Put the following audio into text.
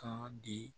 Kan di